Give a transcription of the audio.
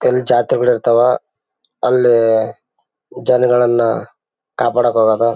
ಕೆಲ ಜಾತ್ರೆಗಳಿರ್ತವ ಅಲ್ಲಿ ಜನಗಳೆಲ್ಲ ಕಾಪಾಡಕ್ಕೆ ಹೋಗೋದು.